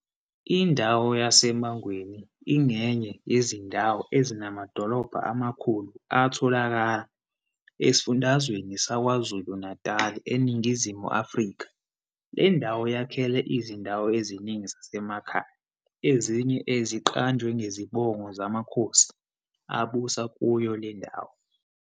Indawo yaseMangweni ingenye yezindawo ezinamadolobha amakhulu atholakala esifundazweni sakwaKwaZulu-Natal, eNingizimu Afrika. Le ndawo yakhele izindawo eziningi zasemakhaya ezinye eziqanjwe ngezibongo zamakhosi abusa kuyo le ndawo.